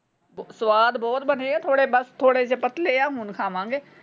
ਸੁਆਦ ਬਹੁਤ ਬਣੇ ਆ ਥੋੜੇ ਬਸ ਥੋੜੇ ਜੇ ਪਤਲੇ ਆ। ਹੁਣ ਖਾਵਾਂਗੇ।